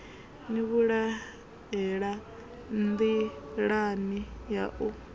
ni vhulahela nḓilani ya u